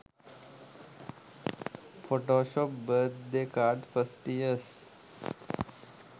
photoshop birth day card first years